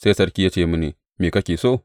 Sai sarki ya ce mini, Me kake so?